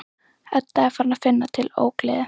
Edda er farin að finna til ógleði.